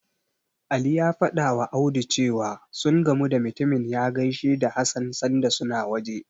Ali ya fadawa Audu cewa, sun ga mutumin ya gaishe da Hassan sanda suna waje.